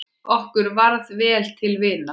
Okkur varð vel til vina.